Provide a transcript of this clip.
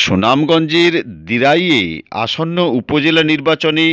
সুনামগঞ্জের দিরাইয়ে আসন্ন উপজেলা নির্বাচনে